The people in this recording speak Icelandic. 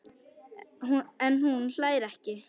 En hún hlær ekki.